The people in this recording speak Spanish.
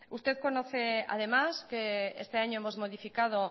usted conoce además que este año hemos modificado